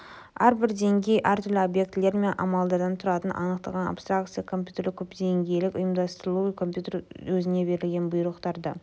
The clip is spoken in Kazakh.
әрбір деңгей әртүрлі объектілер мен амалдардан тұратын анықталған абстракция компьютерлік көпдеңгейлік ұйымдастырылу компьютер өзіне берілген бұйрықтарды